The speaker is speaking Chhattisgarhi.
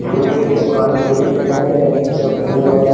फुलेच के दुकान तइसे दिखा हे पूरा फूल वाला--